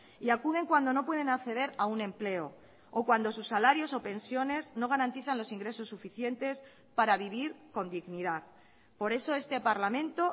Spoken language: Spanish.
y acuden cuando no pueden acceder a un empleo o cuando sus salarios o pensiones no garantizan los ingresos suficientes para vivir con dignidad por eso este parlamento